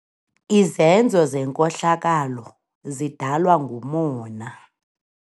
Izenzo zenkohlakalo zidalwa ngumona.